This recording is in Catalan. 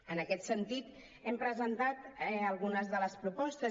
en aquest sentit hem presentat algunes de les propostes